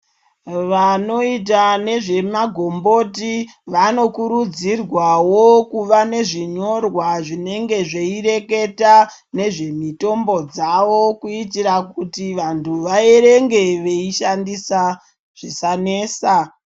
Vanoita nezvemagomboti, vanokurudzirwawo kuva nezvinyorwa zvinenge zveireketa, nezvemitombo dzavo kuitira kuti vantu vaerenge veishandisa, zvisanesa.